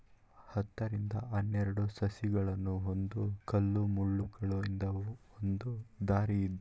ಹತ್ತರಿಂದ ಹನ್ನೇರಡು ಸಸಿಗಳನ್ನು ಒಂದು ಕಲ್ಲುಮುಳ್ಳುಗಳಿಂದ ಒಂದು ದಾರಿ ಇದ್ದು--